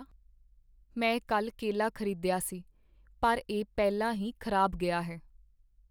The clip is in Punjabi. ਮੈਂ ਕੱਲ੍ਹ ਕੇਲਾ ਖ਼ਰੀਦਿਆ ਸੀ ਪਰ ਇਹ ਪਹਿਲਾਂ ਹੀ ਖ਼ਰਾਬ ਗਿਆ ਹੈ।